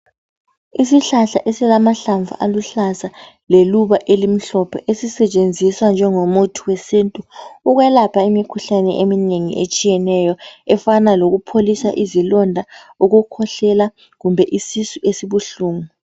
Isihlahla esilamahlamvu aluhlaza leluba elimhlophe esisetshenziswa njengomuthi wesintu ukwelapha imikhuhlane eminengi etshiyeneyo efana lokupholisa izilonda ukukhwehlela kumbe isisu esibuhlungu..